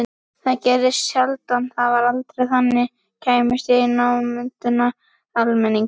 Það gerðist sjaldan og var þá aldrei þannig að ég kæmist í námunda við almenning.